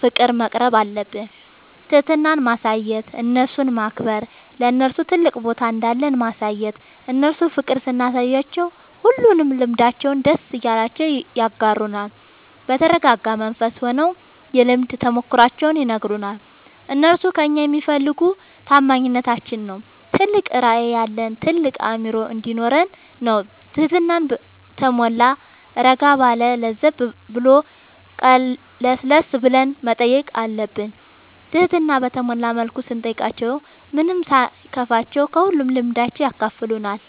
ፍቅር መቅረብአለብን። ትህትና ማሳየት እነርሱን ማክበር ለነርሱ ትልቅ ቦታ እንዳለን ማሳየት እነርሱ ፍቅር ስናሳያቸው ሁሉንም ልምዳቸውን ደስ እያላቸው ያጋሩናል። በተረጋጋ መንፈስ ሆነው የልምድ ተሞክሯቸውን ይነግሩናል። እነርሱ ከእኛ የሚፈልጉ ታማኝነታችን ነው ትልቅ ራዕይ ያለን ታልቅ አእምሮ እንዲኖረን ነው ትህትና በተሟላ እረጋ ባለ ለዘብ ብሎ ቀለስለስ ብለን መጠየቅ አለብን ትህትና በተሞላ መልኩ ስንጠይቃቸው ምንም ሳይከፋቸው ከሁሉም ልምዳቸው ያካፍሉናል።